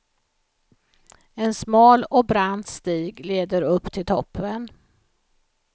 En smal och brant stig leder upp till toppen.